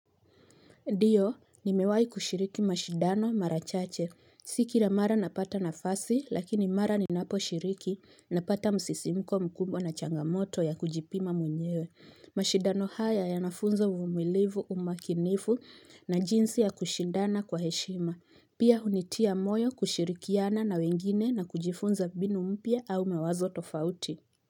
Ndiyo, ni mewai kushiriki mashidano marachache. Si kila mara napata nafasi, lakini mara ni napo shiriki, napata msisimko mkubwa na changamoto ya kujipima mwenyewe. Mashidano haya ya nafunza uvumilivu umakinifu na jinsi ya kushidana kwa heshima. Pia hunitia moyo kushirikiana na wengine na kujifunza mbinu mpya au mawazo tofauti.